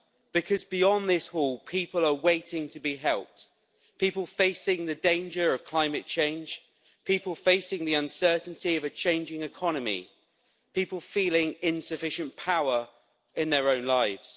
Because beyond this hall, people are waiting to be helped people facing the danger of climate change, people facing the uncertainty of a changing economy, people feeling insufficient power in their own lives.